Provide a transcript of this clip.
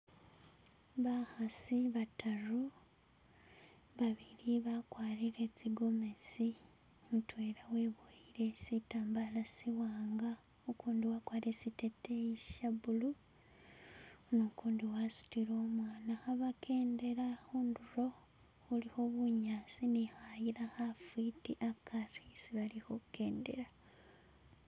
Bakhasi bataru babili bakwarile tsi gomasi, mutwela webowele chitambala chiwanga, ugundi wagwarile chiteteyi chya blue nu gundi wasudile umwana khe bagendela khunduro khulikho bunyasi ni khayila khafiti hagari hesi bali khugendela